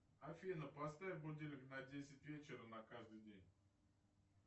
афина поставь будильник на десять вечера на каждый день